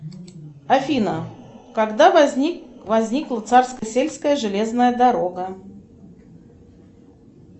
афина когда возникла царско сельская железная дорога